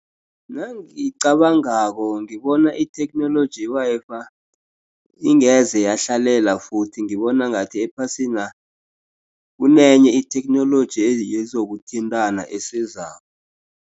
Nangicabangako ngibona itheknoloji i-Wi-Fi ingeze yahlalela futhi ngibona ngathi ephasina kunenye itheknoloji yezokuthintana esizako.